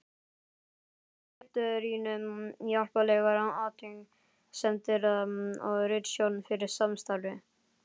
Ég þakka ritrýnum hjálplegar athugasemdir og ritstjórn fyrir samstarfið.